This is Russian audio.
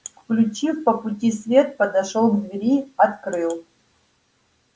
включив по пути свет подошёл к двери открыл